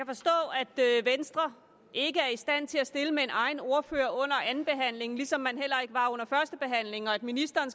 venstre ikke er i stand til at stille med en egen ordfører under andenbehandlingen ligesom man heller ikke var under førstebehandlingen og at ministeren